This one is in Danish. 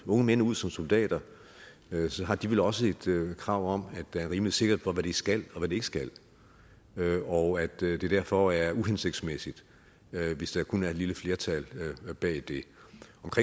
unge mænd ud som soldater har de vel også et krav om at der er rimelig sikkerhed for hvad de skal og hvad de ikke skal og at det det derfor er uhensigtsmæssigt hvis der kun er et lille flertal bag det